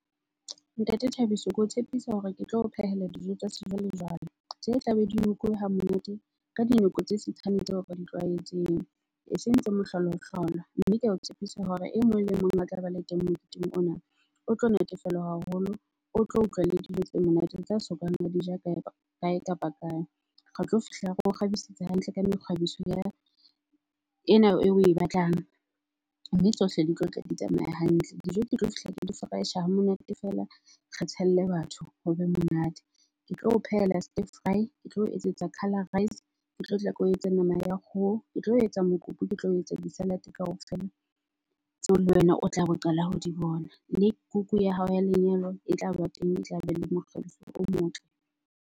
Ntate Thabiso, ke o tshepisa hore ke tlo o phehela dijo tsa sejwalejwale tse tla be di hamonate, ka dinako tse tseo re di tlwaetseng, eseng tse . Mme ke ao tshepisa hore e mong le mong a tla ba le teng moketeng ona, o tlo natefelwa haholo, o tlo utlwa le dijo tse monate tsa sokang a dija kae kapa kae. Re tlo fihla re o kgabisetsa hantle ka mekgabiso ya, ena eo oe batlang mme tsohle di tlotla di tsamaya hantle. Dijo di tlo fihla di hamonate feela, re tshelle batho ho be monate. Ke tlo o phehela ke tlo o etsetsa ke tlo nama ya kgoho, ke tlo etsa mokopu, ke tlo etsa di-salad-e kaofela tseo le wena o tlabe o qala ho di bona. Mme kuku ya hao ya lenyalo e tlaba teng, e tlabe le mokgabiso o motle.